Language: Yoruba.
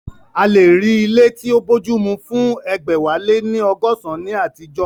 A lè rí ilé tí ó bójúmu fún egbẹ̀wáléníọgọsan ní àtijọ́